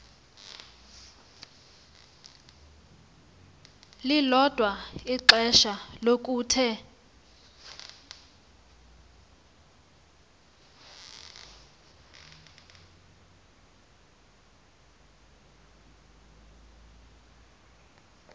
lilodwa ixesha lokuthe